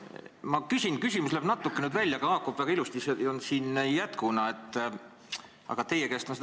Küsimus läheb küll natuke otseselt eelnõu raamistikust välja, aga haakub teemaga väga hästi ja on siin jätkuna eelmisele küsimusele.